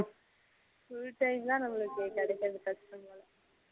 full time ஆ நம்மளுக்கு கிடைக்குறது கஷ்டம் தான்